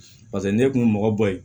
pase n'e kun be mɔgɔ bɔ ye